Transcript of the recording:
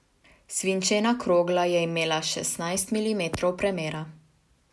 Svinčena krogla je imela šestnajst milimetrov premera.